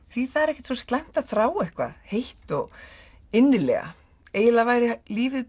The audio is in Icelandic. því það er ekki svo slæmt að þrá eitthvað heitt og eiginlega væri lífið